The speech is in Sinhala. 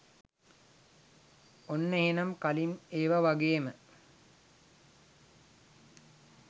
ඔන්න එහෙනම් කලින් ඒව වගේම